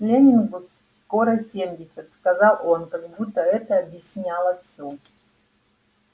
лэннингу скоро семьдесят сказал он как будто это объясняло все